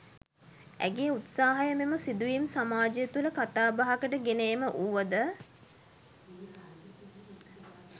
ඇගේ උත්සාහය මෙම සිදුවීම් සමාජය තුළ කතාබහකට ගෙන ඒම වුව ද